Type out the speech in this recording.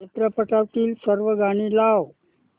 चित्रपटातील सर्व गाणी लाव